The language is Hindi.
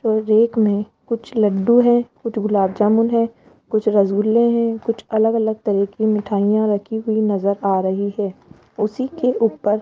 और रैक में कुछ लडडू हैं कुछ गुलाबजामुन है कुछ रसगुल्ले हैं कुछ अलग अलग तरह की मिठाइयां रखी हुई नज़र आ रही है उसी के ऊपर --